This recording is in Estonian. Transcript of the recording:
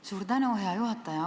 Suur tänu, hea juhataja!